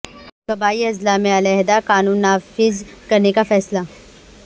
قبائلی اضلاع میں علیحدہ قانون نافذ کرنے کا فیصلہ